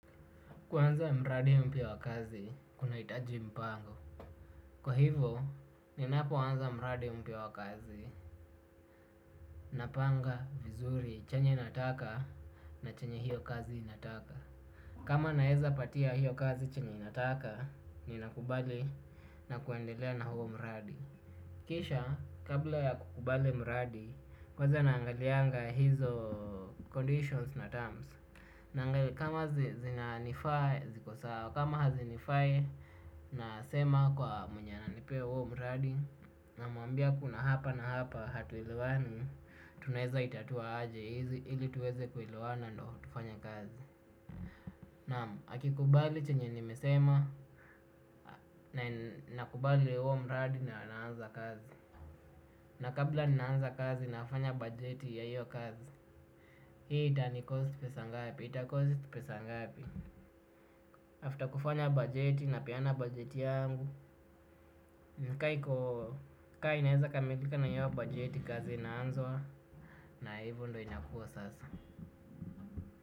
Kuanza mradi mpya wa kazi, kunahitaji mpango. Kwa hivo, ninapoanza mradi mpya wa kazi, napanga vizuri chenye nataka na chenye hiyo kazi inataka. Kama naezapatia hiyo kazi chenye inataka, ninakubali na kuendelea na huo mradi. Kisha, kabla ya kukubali mradi, kwanza naangalianga hizo conditions na terms. Naangai kama zi zinanifaa ziko sawa kama hazinifai nasema kwa mwenye ananipee huo mradi namwambia kuna hapa na hapa hatuelewani tunaezaitatua aje hizi ili tuweze kuelewana ndo tufanye kazi. Naam akikubali chenye nimesema na nakubali huo mradi na naanza kazi. Na kabla ninaanza kazi nafafanya bajeti ya hiyo kazi hii itanicost pesa ngapi itacost pesa ngapi After kufanya bajeti napeana budget yangu kaa iko kaa inaeza kamilika na hio bajeti kazi inaanzwa. Na hivo ndo inakuwa sasa.